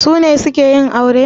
Su ne suke yin aure?